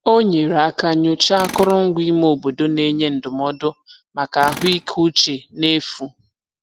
O nyere aka nyochaa akụrụngwa ime obodo na-enye ndụmọdụ maka ahụikeuche n'efu.